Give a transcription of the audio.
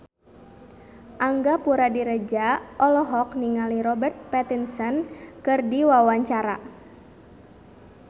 Angga Puradiredja olohok ningali Robert Pattinson keur diwawancara